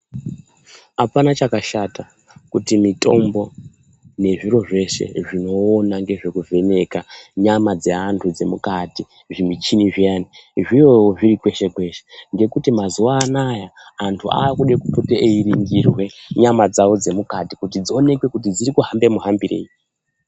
Apana chakashata kuti mitombo nezviro zveshe zvino ona nge zveku vheneka nyama dze antu dze mukati zvi michini zviyani zviwewo zviri kweshe kweshe ngekuti mazuva anaya antu akude kupote eyi ringirwe nyama dzavo dze mukati kuti dzi onekwe dziri kuhamba mu hambirei.